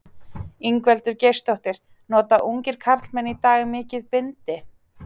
Ingveldur Geirsdóttir: Nota ungir karlmenn í dag mikið bindi?